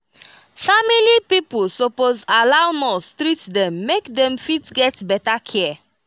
family pipo suppose allow nurse treat them make dem fit get better care